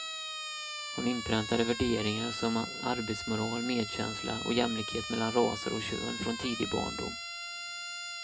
Hon inpräntade värderingar som arbetsmoral, medkänsla och jämlikhet mellan raser och kön från tidig barndom.